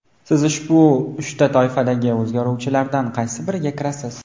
siz ushbu uchta toifadagi o‘rganuvchilardan qaysi biriga kirasiz?.